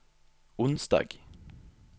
onsdag